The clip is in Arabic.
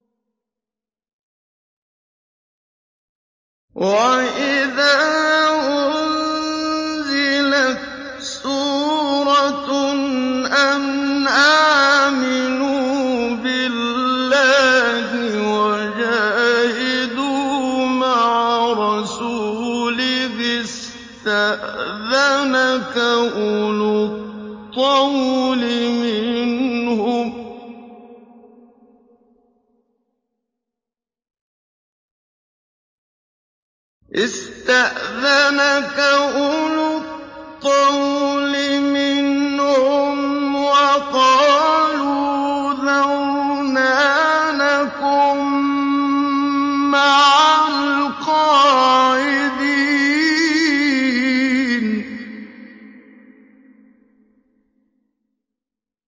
وَإِذَا أُنزِلَتْ سُورَةٌ أَنْ آمِنُوا بِاللَّهِ وَجَاهِدُوا مَعَ رَسُولِهِ اسْتَأْذَنَكَ أُولُو الطَّوْلِ مِنْهُمْ وَقَالُوا ذَرْنَا نَكُن مَّعَ الْقَاعِدِينَ